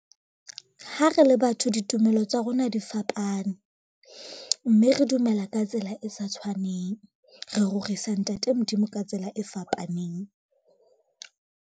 Ha re le batho ditumelo tsa rona di fapane, mme re dumela ka tsela e sa tshwaneng. Re rorisa ntate Modimo ka tsela e fapaneng.